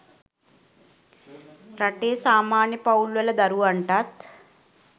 රටේ සාමාන්‍ය පවුල්වල දරුවන්ටත්